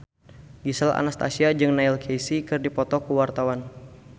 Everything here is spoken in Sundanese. Gisel Anastasia jeung Neil Casey keur dipoto ku wartawan